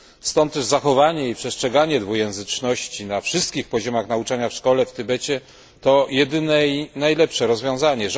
Stąd też zachowanie i przestrzeganie dwujęzyczności na wszystkich poziomach nauczania w szkołach w Tybecie to jedyne i najlepsze rozwiązanie.